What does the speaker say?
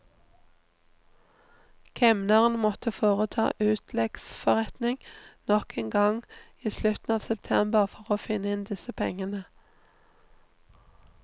Kemneren måtte foreta utleggsforretning nok en gang i slutten av september for å få inn disse pengene.